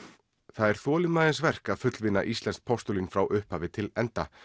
það er þolinmæðisverk að fullvinna íslenskt postulín frá upphafi til enda